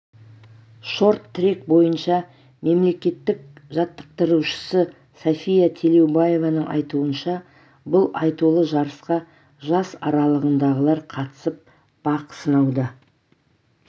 шорт-трек бойынша мемлекеттік жаттықтырушысы сафия телеубаеваның айтуынша бұл айтулы жарысқа жас аралығындағылар қатысып бақ сынауда